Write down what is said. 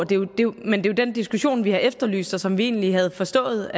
det er jo den diskussion vi har efterlyst og som vi egentlig havde forstået